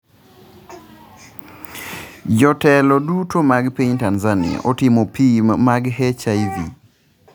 Bende jotelo duto mag piny Tanzania itimo pim mag HIV?